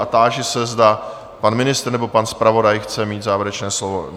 A táži se, zda pan ministr nebo pan zpravodaj chce mít závěrečné slovo?